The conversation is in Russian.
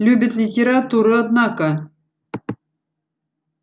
любит литературу однако